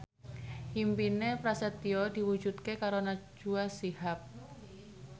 impine Prasetyo diwujudke karo Najwa Shihab